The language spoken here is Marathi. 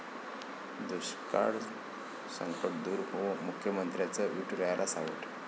दुष्काळाचं संकट दूर होवो, मुख्यमंत्र्यांचं विठुरायाला साकडं